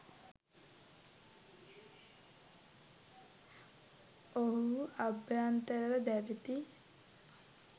ඔවුහු අභ්‍යන්තරව දැවෙති.